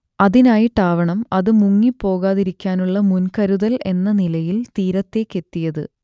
അതിനായിട്ടാവണം അത് മുങ്ങിപ്പോകാതിരിക്കാനുള്ള മുൻകരുതൽ എന്ന നിലയിൽ തീരത്തേക്കെത്തിയത്